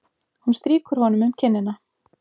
Hún strýkur honum um kinnina.